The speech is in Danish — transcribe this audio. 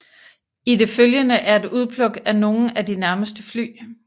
I det følgende er et udpluk af nogle af de nærmeste fly